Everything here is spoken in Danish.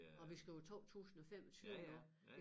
Og vi skriver 2025 nu